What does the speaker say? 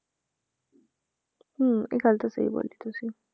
ਹਮ ਇਹ ਗੱਲ ਤਾਂ ਸਹੀ ਬੋਲੀ ਤੁਸੀਂ।